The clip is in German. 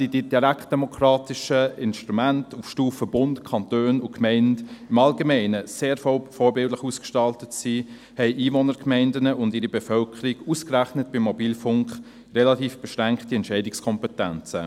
Während die direktdemokratischen Instrumente auf Stufe Bund, Kanton und Gemeinde im Allgemeinen weltweit sehr vorbildlich ausgestaltet sind, haben Einwohnergemeinden und ihre Bevölkerung ausgerechnet beim Mobilfunk sehr beschränkte Entscheidungskompetenzen.